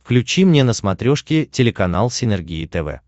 включи мне на смотрешке телеканал синергия тв